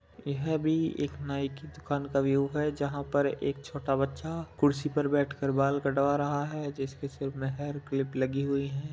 यह पर एक नाई की दुकान का व्यू है जहाँ पर एक छोटा बच्चा कुर्सी पर बेठ कर बाल कटवा रहा है जिसके सिर पर हेयर में क्लिप लगी हुई है।